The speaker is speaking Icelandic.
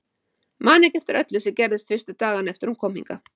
Man ekki eftir öllu sem gerðist fyrstu dagana eftir að hún kom hingað.